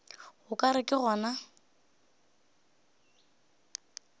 o ka re ke gona